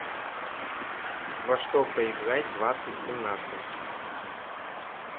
во что поиграть двадцать семнадцать